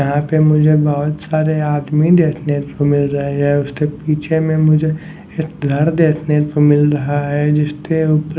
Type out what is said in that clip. यहाँ पर मुझे बहुत सारे आदमी देखने को मिल रहे हैं उससे पीछे में मुझे एक घर देखने को मिल रहा है जिससे ऊप --